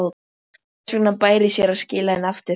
Þess vegna bæri sér að skila henni aftur.